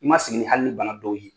I ma sigi hali ni bana dɔw ye.